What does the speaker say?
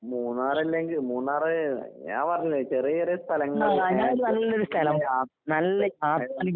മൂന്നാറല്ലെങ്കി മൂന്നാറ് ഞാൻ പറഞ്ഞില്ലേ ചെറിയ ചെറിയ സ്ഥലങ്ങള്